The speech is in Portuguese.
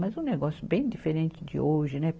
Mas um negócio bem diferente de hoje, né?